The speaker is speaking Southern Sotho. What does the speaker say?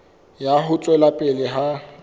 ya ho tswela pele ha